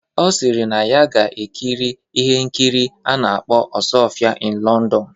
Ọ sịrị na ya ga-ekiri ihe nkiri a na-akpọ "Osuofia in London"